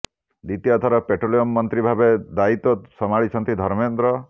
ଦ୍ୱିତୀୟ ଥର ପେଟ୍ରୋଲିୟମ ମନ୍ତ୍ରୀ ଭାବରେ ଦାୟିତ୍ୱ ସମ୍ଭାଳିଛନ୍ତି ଧର୍ମେନ୍ଦ୍ର